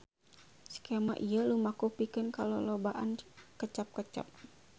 Skema ieu lumaku pikeun kalolobaan kecap-kecap.